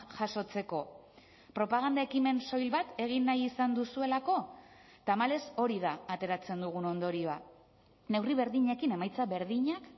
jasotzeko propaganda ekimen soil bat egin nahi izan duzuelako tamalez hori da ateratzen dugun ondorioa neurri berdinekin emaitza berdinak